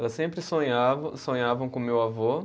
Elas sempre sonhavam, sonhavam com o meu avô.